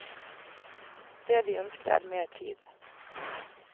Det de ønsker er mer tid.